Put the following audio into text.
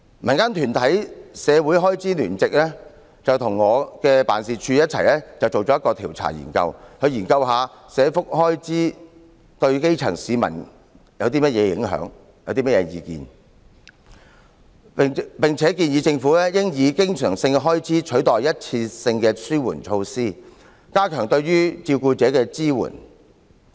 民間團體"關注社會開支聯席"與我的辦事處共同進行了一項調查，研究社福開支對基層市民有何影響和他們有何意見，並建議政府應以經常性開支取代一次性的紓緩措施，加強對照顧者的支援。